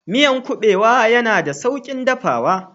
Miyan kubewa yana da saukin dafawa